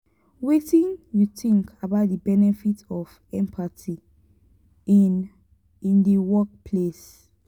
wetin you think about di benefits of empathy in in di workplace?